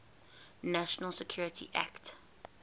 national security act